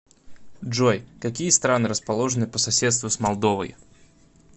джой какие страны расположены по соседству с молдовой